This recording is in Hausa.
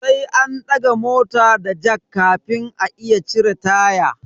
Sai an daga mota da jack kafin a iya cire taya.